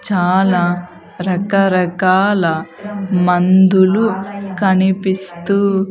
చాలా రకరకాల మందులు కనిపిస్తూ.